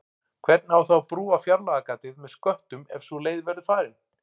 Hvernig á þá að brúa fjárlagagatið með sköttum ef sú leið verður farin?